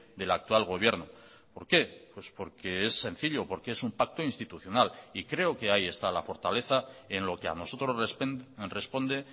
del actual gobierno por qué por que es sencillo porque es un pacto institucional y creo que ahí está la fortaleza en lo que ha nosotros responde